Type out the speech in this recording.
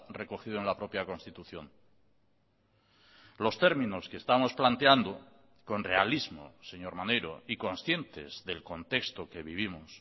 recogido en la propia constitución los términos que estamos planteando con realismo señor maneiro y conscientes del contexto que vivimos